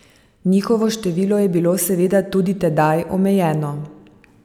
Njihovo število je bilo seveda tudi tedaj omejeno.